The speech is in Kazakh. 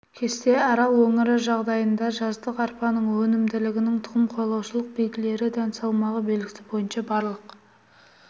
кесте арал өңірі жағдайында жаздық арпаның өнімділігінің тұқым қуалаушылық белгілері дән салмағы белгісі бойынша барлық